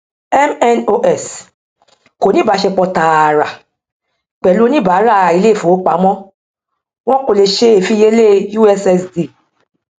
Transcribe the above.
mnos kò ní ìbáṣepọ tààrà pẹlú oníbàárà ilé ìfowópamọ wọn kò le ṣe ìfiyelé ussd